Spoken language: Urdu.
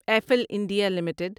Eiffel India limited